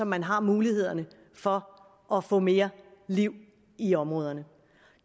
man har mulighederne for at få mere liv i området